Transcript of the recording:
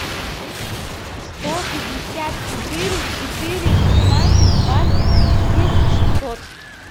сто пятьдесят четыре четыре шестнадцать двадцать десять шестьсот